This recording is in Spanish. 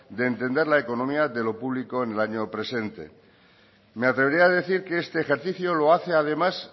de entender la economía de lo público en el año presente me atrevería a decir que este ejercicio lo hace además